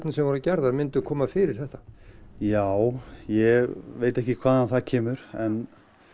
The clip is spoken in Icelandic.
sem voru gerðar myndu koma fyrir þetta já ég veit ekki hvaðan það kemur en